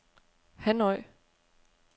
Hanoi